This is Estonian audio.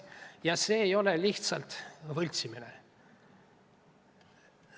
Ja see ei ole lihtsalt võltsimine.